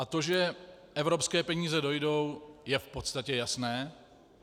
A to, že evropské peníze dojdou, je v podstatě jasné.